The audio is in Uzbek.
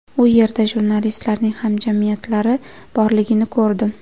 U yerda jurnalistlarning hamjamiyatlari borligini ko‘rdim.